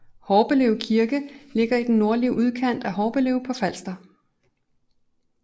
Horbelev Kirke ligger i den nordlige udkant af Horbelev på Falster